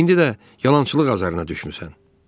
İndi də yalançılıq azarına düşmüsən.